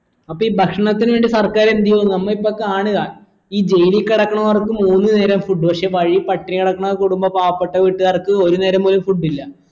അപ്പീ ഭക്ഷണത്തിന് വേണ്ടി സർക്കാരെന്തു ചെയ്യു നമ്മ ഇപ്പ കാണ്ആ ഈ ജയിലിൽ കെടക്കണോർക്ക് മൂന്ന് നേരോം food പക്ഷെ വഴി പട്ടിണി കിടക്കണ കുടുമ്പോ പാവപ്പെട്ട വീട്ട്ക്കാർക്ക് ഒരു നേരം പോലും food ഇല്ല